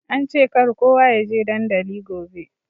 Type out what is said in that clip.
Ance kar kowa ya je dandali gobe.